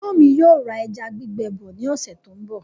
Ẹ̀gbọ́n mi yóò ra ẹja gbígbẹ bọ ní ọ̀sẹ̀ tó ń bọ̀